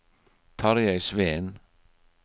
Tarjei Sveen